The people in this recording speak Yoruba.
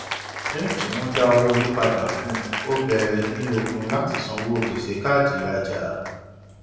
lẹyìn tí wọn dá owó orí padà fún un ó bẹrẹ ní okun láti san gbèsè káàdì ìrajà